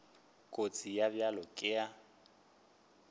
kotsi ye bjalo ka ye